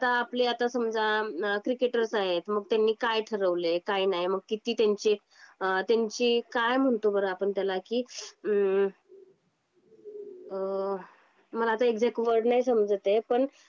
जे आत आपले समजा ना क्रिकेटर्स आहे मग त्यांनी काय ठरवले. काय नाही. मग किती त्यांची त्यांची काय म्हणतो बरं आपण त्याला की अंह! मला आता एक्सक्ट वर्ड नाही समजत आहे.